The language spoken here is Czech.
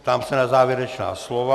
Ptám se na závěrečná slova.